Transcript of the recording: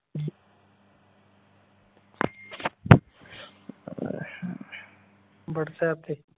whatsapp ਤੇ